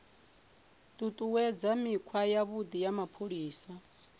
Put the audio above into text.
ṱuṱuwedza mikhwa yavhuḓi ya mapholisa